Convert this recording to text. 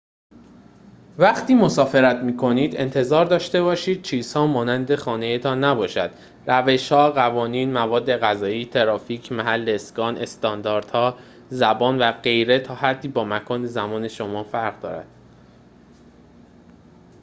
وقتی مسافرت می‌کنید انتظار داشته باشید چیزها مانند خانه‌تان نباشد روش‌ها قوانین مواد غذایی ترافیک محل اسکان استانداردها زبان و غیره تا حدی با مکان زندگی شما متفاوت است